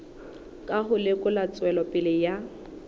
ka ho lekola tswelopele ya